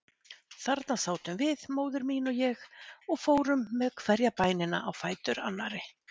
Þarna sátum við, móðir mín og ég, og fórum með hverja bænina á fætur annarri.